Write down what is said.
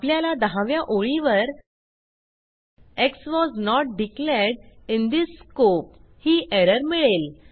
आपल्याला दहाव्या ओळीवर x was not declared in this scope ही एरर मिळेल